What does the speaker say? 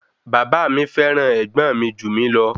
Bàbá mi fẹ́ràn ẹ̀gbọ́n mi jù mí lọ